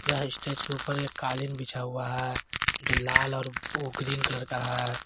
यह स्टेज के ऊपर एक कालीन बिछा हुआ है जो लाल और ग्रीन कलर का है।